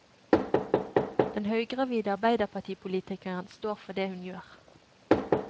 Den høygravide arbeiderpartipolitikeren står for det hun gjør.